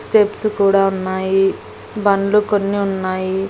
Steps కూడా ఉన్నాయి బండ్లు కొన్ని ఉన్నాయి.